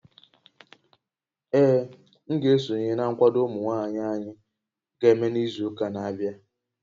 Ee, m ga-esonye na nkwado ụmụ nwaanyị anyị ga-eme n'izu ụka na-abịa